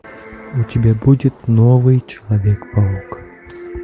у тебя будет новый человек паук